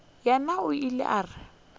yena o ile a re